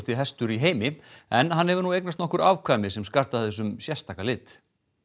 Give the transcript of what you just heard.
hestur í heimi en nú hefur eignast nokkur afkvæmi sem skarta þessum sérstaka lit